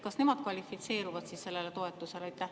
Kas nemad kvalifitseeruvad sellele toetusele?